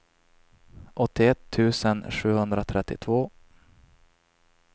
åttioett tusen sjuhundratrettiotvå